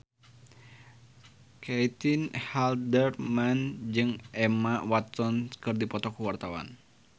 Caitlin Halderman jeung Emma Watson keur dipoto ku wartawan